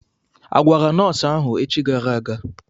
Agwara nọọsụ ahụ echi gara aga?